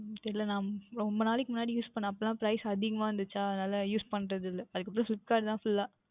உம் தெரியவில்லை நான் ரொம்ப நாட்கள் முன்னாடி Use பன்னினேன் அப்பொழுது எல்லாம் Price அதிகமாக இருந்தது அதனாலே Use பண்ணுவது இல்லை அதற்கு அப்புறம் Flipkart ல தான் Full அஹ்